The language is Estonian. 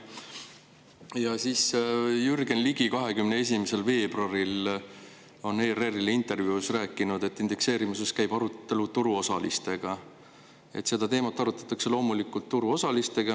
Ja Jürgen Ligi on 21. veebruaril ERR-ile antud intervjuus rääkinud, et indekseerimisest käib arutelu turuosalistega: "Seda teemat arutatakse loomulikult ka turuosalistega.